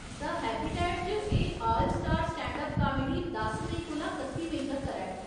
The habitat च एह् all star standup comedy दस मेई कोला कत्ती मेई तक्कर ऐ।